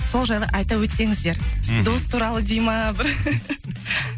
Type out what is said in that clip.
сол жайлы айта өтсеңіздер мхм дос туралы дейді ма бір